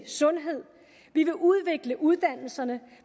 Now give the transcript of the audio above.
sundhed vi vil udvikle uddannelserne